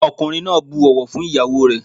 Ọkùnrin náà bu ọ̀wọ̀ fún ìyáwó ẹ̀.